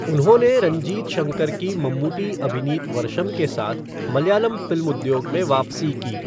उन्होंने रंजीत शंकर की मम्मूटी अभिनीत वर्षम् के साथ मलयालम फ़िल्म उद्योग में वापसी की।